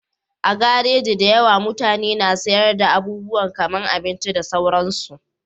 A garaji da yawa, mutane na sayar da abubuwa kaman abinci da sauransu